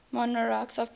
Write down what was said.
monarchs of persia